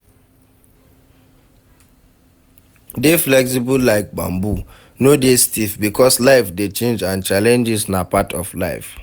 Dey flexible like bamboo, no dey stiff because life dey change and challenges na part of life